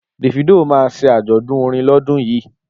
Davido ma ṣe àjọ̀dún orin lọ́dún yìí